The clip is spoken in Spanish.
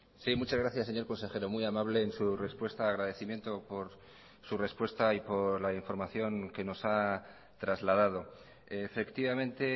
sí muchas gracias señor consejero muy amable en su respuesta agradecimiento por su respuesta y por la información que nos ha trasladado efectivamente